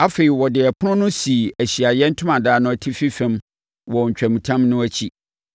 Afei, ɔde ɛpono no sii Ahyiaeɛ Ntomadan no atifi fam wɔ ntwamutam no akyi,